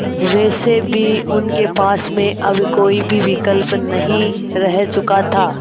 वैसे भी उनके पास में अब कोई भी विकल्प नहीं रह चुका था